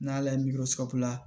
N' ala ye miiri sababu la